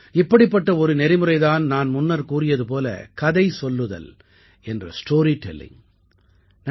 இப்படிப்பட்ட ஒரு நெறிமுறை தான் நான் முன்னர் கூறியது போல கதை சொல்லுதல் என்ற ஸ்டோரி டெல்லிங்